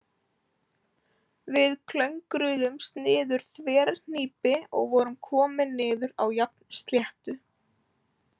Við klöngruðumst niður þverhnípi og vorum komin niður á jafnsléttu.